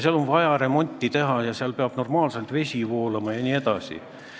Seal on vaja remonti teha, seal peab vesi normaalselt voolama jne.